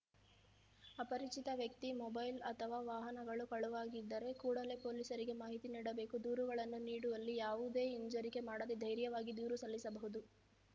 ಅಪರಿಚಿತ ವ್ಯಕ್ತಿ ಮೊಬೈಲ್‌ ಅಥವಾ ವಾಹನಗಳು ಕಳುವಾಗಿದ್ದರೆ ಕೂಡಲೇ ಪೊಲೀಸರಿಗೆ ಮಾಹಿತಿ ನೀಡಬೇಕು ದೂರುಗಳನ್ನು ನೀಡುವಲ್ಲಿ ಯಾವುದೇ ಹಿಂಜರಿಕೆ ಮಾಡದೇ ಧೈರ್ಯವಾಗಿ ದೂರು ಸಲ್ಲಿಸಬಹುದು